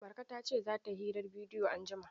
Marka ta ce za ta yi hirar bidiyo anjima.